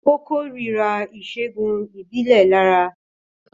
Ó kórìíra ìṣègùn ìbílẹ̀ Laraa